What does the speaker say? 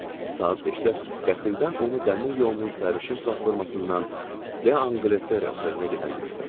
Saat 5-də qəfildən onu dəmir yolunun səhərişin platformasından D'Angletre otelinə gedən gördüm.